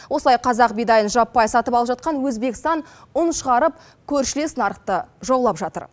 осылай қазақ бидайын жаппай сатып алып жатқан өзбекстан ұн шығарып көршілес нарықты жаулап жатыр